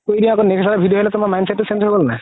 mindset তো change হয় গ'ল নে নাই